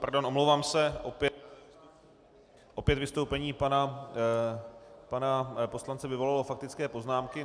Pardon, omlouvám se, opět vystoupení pana poslance vyvolalo faktické poznámky.